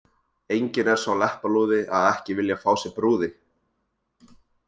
Enginn er sá leppalúði að ekki vilja fá sér brúði.